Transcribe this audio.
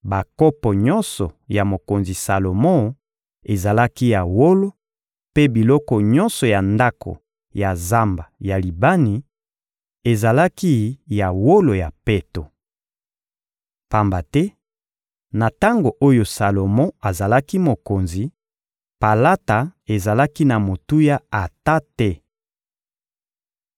Bakopo nyonso ya mokonzi Salomo ezalaki ya wolo, mpe biloko nyonso ya ndako ya Zamba ya Libani ezalaki ya wolo ya peto. Pamba te, na tango oyo Salomo azalaki mokonzi, palata ezalaki na motuya ata te.